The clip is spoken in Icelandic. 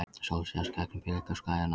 Sól sést gegnum blikuslæðuna.